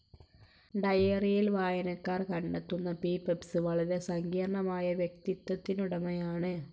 ഡയറിയിൽ വായനക്കാർ കണ്ടെത്തുന്ന പീപ്സ്‌ വളരെ സങ്കീർണ്ണമായ വ്യക്തിത്വത്തിനുടമയാണ്.